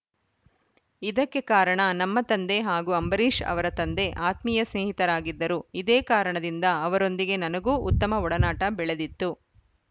ಇದಕ್ಕೆ ಕಾರಣ ನಮ್ಮ ತಂದೆ ಹಾಗೂ ಅಂಬರೀಷ್‌ ಅವರ ತಂದೆ ಆತ್ಮೀಯ ಸ್ನೇಹಿತರಾಗಿದ್ದರು ಇದೇ ಕಾರಣದಿಂದ ಅವರೊಂದಿಗೆ ನನಗೂ ಉತ್ತಮ ಒಡನಾಟ ಬೆಳೆದಿತ್ತು